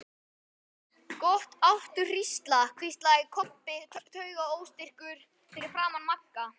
Gott áttu HRÍSLA, hvíslaði Kobbi taugaóstyrkur fyrir aftan Magga.